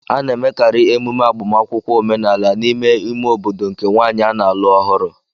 A na-emekarị emume agbamakwụkwọ omenala n'ime ime obodo nke nwaanyị a na-alụ ọhụrụ